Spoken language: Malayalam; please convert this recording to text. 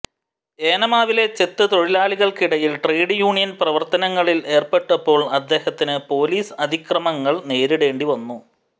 ഏനാമാവിലെ ചെത്ത് തൊഴിലാളികൾക്കിടയിൽ ട്രേഡ് യൂണിയൻ പ്രവർത്തനങ്ങളിൽ ഏർപ്പെട്ടപ്പോൾ അദ്ദേഹത്തിന് പോലീസ് അതിക്രമങ്ങൾ നേരിടേണ്ടിവന്നു